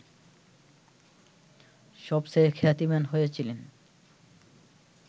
সবচেয়ে খ্যাতিমান হয়েছিলেন